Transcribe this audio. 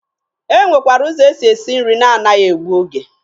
E nwekwara ụzọ e si esi nri na a naghị egbu oge.